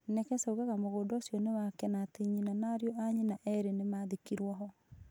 Nekesa oigaga atĩ mũgũnda ũcio nĩ wake na atĩ nyina na ariũ a nyina erĩ nĩ maathikirũo ho.